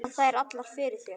Falla þær allar fyrir þér?